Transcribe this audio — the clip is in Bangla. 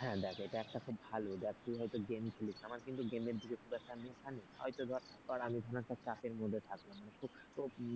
হ্যাঁ দেখ এটা একটা খুব ভালো দেখ তুই হয়তো game খেলিস আমার কিন্তু game এর দিকে খুব একটা নেশা নেই হয়তো ধর আমি কোন একটা চাপের মধ্যে থাকলাম মানে খুব